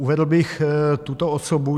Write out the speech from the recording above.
Uvedl bych tuto osobu.